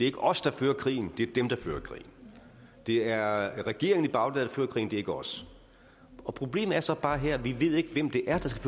ikke os der fører krigen det er dem der fører krigen det er regeringen i bagdad der fører krigen det er ikke os og problemet er så bare her at vi ikke ved hvem det er der skal